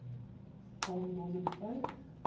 old northern folk